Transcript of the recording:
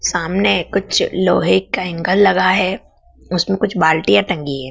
सामने कुछ लोहे का एंगल लगा है उसमें कुछ बाल्टीयाँ टंगी है।